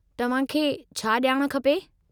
तव्हांखे छा ॼाण खपे?